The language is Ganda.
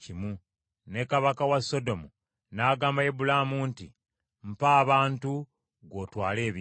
Ne kabaka wa Sodomu n’agamba Ibulaamu nti, “Mpa abantu, gwe otwale ebintu.”